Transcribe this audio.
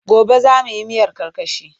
Gobe za mu yi miyar karkashi.